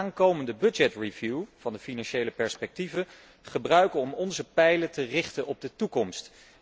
Laten we de aankomende budget review van de financiële vooruitzichten gebruiken om onze pijlen te richten op de toekomst.